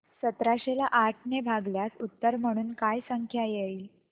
सतराशे ला आठ ने भागल्यास उत्तर म्हणून काय संख्या येईल